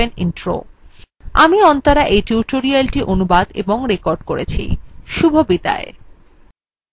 আমি অন্তরা এই tutorialটি অনুবাদ এবং রেকর্ড করেছি